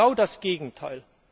Genau das Gegenteil!